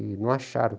E não acharam.